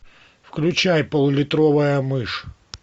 включай пол литровая мышь